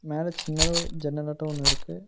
மேல சின்னதா ஒரு ஜன்னலாட்டும் ஒன்னு இருக்கு.